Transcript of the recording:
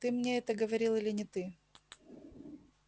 ты мне это говорил или не ты